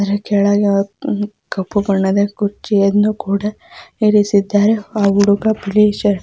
ಅದರ ಕೆಳಗೆ ಒಂದು ಕಪ್ಪು ಬಣ್ಣದ ಕುರ್ಚಿಯನ್ನು ಕೂಡ ಇರಿಸಿದ್ದಾರೆ ಹಾಗು ಹುಡುಗ ಬಿಳಿ ಶರ್ಟ್ .